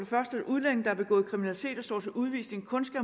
første at udlændinge der har begået kriminalitet og står til udvisning kun skal